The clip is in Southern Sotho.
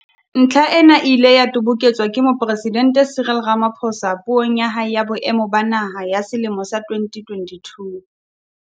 Ntlha ena e ile ya toboketswa ke Mopresidente Cyril Rama phosa Puong ya hae ya Boemo ba Naha ya selemo sa 2022.